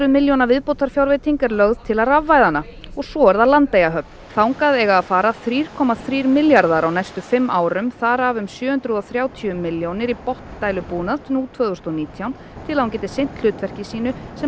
milljóna viðbótarfjárveiting er lögð til að rafvæða hana svo er Landeyjahöfn þangað eiga að fara þrjá komma þrír milljarðar á næstu fimm árum þar af um sjö hundruð og þrjátíu milljónir í botndælubúnað tvö þúsund og nítján til að hún geti sinn hlutverki sínu sem